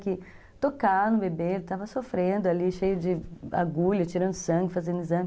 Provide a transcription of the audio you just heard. Que tocar no bebê, ele estava sofrendo ali, cheio de agulha, tirando sangue, fazendo exame.